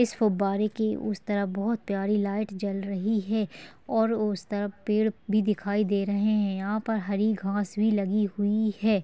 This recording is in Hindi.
इस फुब्बारे के उस तरफ बोहोत प्यारी लाइट जल रही है और उस तरफ पेड़ भी दिखाई दे रहे है यहाँ पर हरी घास भी लगी हुई है।